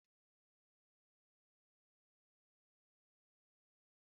Nkpo otuboala na-eme sịtịụ atọ ụtọ